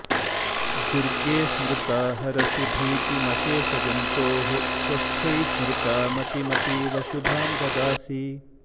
दुर्गे स्मृता हरसि भीतिमशेषजन्तोः स्वस्थ्यै स्म्रिता मतिमतीव शुभां ददासि